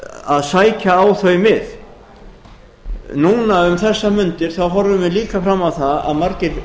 að sækja á þau mið núna um þessar mundir þá horfum við líka fram á það að margir